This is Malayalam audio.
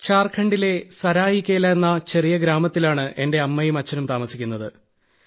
ഝാർഖണ്ഡിലെ സരായികേല എന്ന ചെറിയ ഗ്രാമത്തിലാണ് എന്റെ അമ്മയും അച്ഛനും താമസിക്കുന്നത്